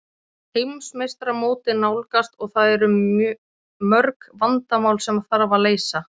Heimsmeistaramótið nálgast og það eru mörg vandamál sem þarf að leysa.